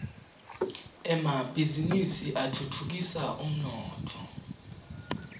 emabhizinisi atfutfukisa umnotfo